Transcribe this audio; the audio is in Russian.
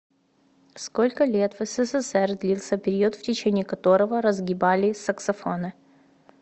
сколько лет в ссср длился период в течение которого разгибали саксофоны